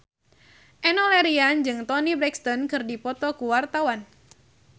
Enno Lerian jeung Toni Brexton keur dipoto ku wartawan